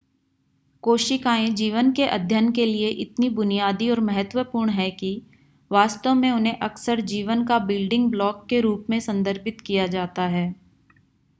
कोशिकाएं जीवन के अध्ययन के लिए इतनी बुनियादी और महत्वपूर्ण हैं कि वास्तव में उन्हें अक्सर जीवन का बिल्डिंग ब्लॉक के रूप में संदर्भित किया जाता है